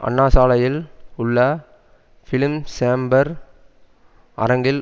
அண்ணாசாலையில் உள்ள பிலிம்சேம்பர் அரங்கில்